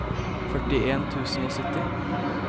førtien tusen og sytti